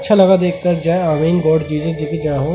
अच्छा लगा देखकर --